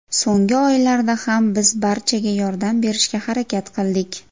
So‘nggi oylarda ham biz barchaga yordam berishga harakat qildik.